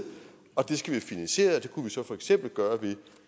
og det skal vi have finansieret det kunne vi så for eksempel gøre ved